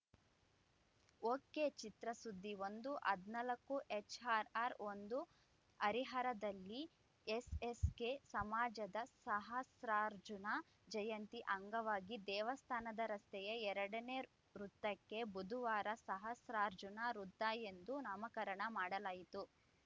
ಒಕೆಚಿತ್ರಸುದ್ದಿ ಒಂದು ಹದಿನಾಲ್ಕು ಎಚ್‌ಆರ್‌ಆರ್‌ ಒಂದು ಹರಿಹರದಲ್ಲಿ ಎಸ್‌ಎಸ್‌ಕೆ ಸಮಾಜದ ಸಹಸ್ರಾರ್ಜುನ ಜಯಂತಿ ಅಂಗವಾಗಿ ದೇವಸ್ಥಾನದ ರಸ್ತೆಯ ಎರಡನೇ ವೃತ್ತಕ್ಕೆ ಬುಧುವಾರ ಸಹಸ್ರಾರ್ಜುನ ವೃತ್ತ ಎಂದು ನಾಮಕರಣ ಮಾಡಲಾಯಿತು